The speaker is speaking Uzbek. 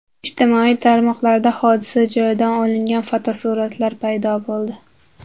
Ijtimoiy tarmoqlarda hodisa joyidan olingan fotosuratlar paydo bo‘ldi .